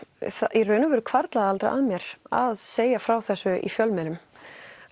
í raun og veru hvarflaði aldrei að mér að segja frá þessum í fjölmiðlum